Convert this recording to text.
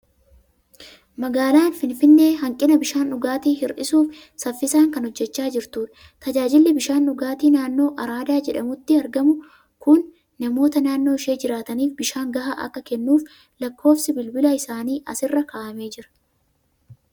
Magaalaan Finfinnee hanqina bishaan dhugaatii hir'isuuf saffisaan kan hojjechaa jirtudha. Tajaajilli bishaan dhugaatii naannoo araadaa jedhamutti argamu kun namoota naannoo ishee jiraataniif bishaan gahaa akka kennuuf lakkoofsi bilbilaa isaanii asirra kaa'amee jira.